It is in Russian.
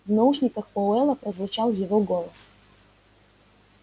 в наушниках пауэлла прозвучал его голос